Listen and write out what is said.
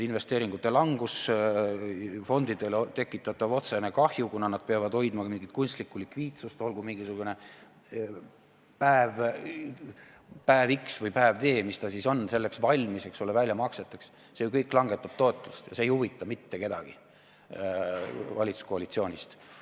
Investeeringute langus, fondidele tekitatav otsene kahju, kuna nad peavad hoidma mingit kunstlikku likviidsust, olgu mingisugune päev x või päev d, mis ta siis on, olles valmis, eks ole, väljamakseteks – see ju kõik langetab tootlust ja see ei huvita mitte kedagi valitsuskoalitsioonist.